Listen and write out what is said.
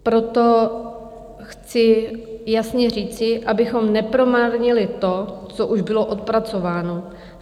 Proto chci jasně říci, abychom nepromarnili to, co už bylo odpracováno.